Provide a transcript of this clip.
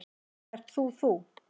Ert þú þú?